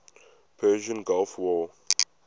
persian gulf war